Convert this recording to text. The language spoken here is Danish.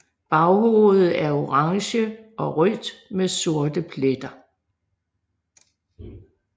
Baghovedet er orange og rødt med sorte pletter